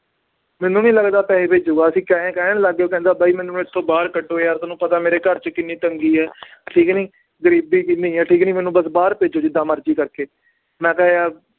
ਮੈਨੂੰ ਨੀ ਲੱਗਦਾ ਪੈਸੇ ਭੇਜੇਗਾ ਅਸੀਂ ਆਏਂ ਕਹਿਣ ਲੱਗ ਗਏ ਉਹ ਕਹਿੰਦਾ ਬਾਈ ਮੈਨੂੰ ਇੱਥੋਂ ਬਾਹਰ ਕੱਢੋ ਯਾਰ ਤੁਹਾਨੂੰ ਪਤਾ ਮੇਰੇ ਘਰ 'ਚ ਕਿੰਨੀ ਤੰਗੀ ਹੈ ਠੀਕ ਹੈ ਨੀ, ਗ਼ਰੀਬੀ ਕਿੰਨੀ ਹੈ ਠੀਕ ਹੈ ਨੀ ਮੈਨੂੰ ਬਸ ਬਾਹਰ ਭੇਜੋ ਜਿੱਦਾਂ ਮਰਜ਼ੀ ਕਰਕੇ ਮੈਂ ਕਿਹਾ ਯਾਰ